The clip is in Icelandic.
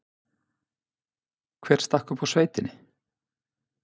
Hver stakk upp á sveitinni?